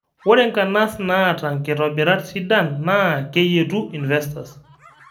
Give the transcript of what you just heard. Ore nkanas naata nkitobirat sidan naa keyietu investors